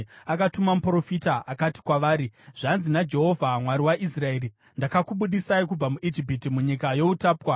Akatuma muprofita, akati kwavari, “Zvanzi naJehovha: Mwari waIsraeri: Ndakakubudisai kubva muIjipiti, munyika youtapwa.